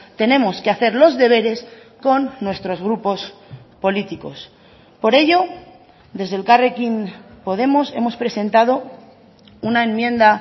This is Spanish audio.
tenemos que hacer los deberes con nuestros grupos políticos por ello desde elkarrekin podemos hemos presentado una enmienda